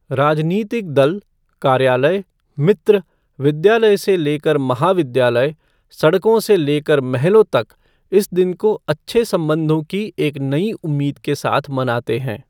राजनीतिक दल, कार्यालय, मित्र, विद्यालय से लेकर महाविद्यालय, सड़कों से लेकर महलों तक इस दिन को अच्छे संबंधों की एक नई उम्मीद के साथ मनाते है।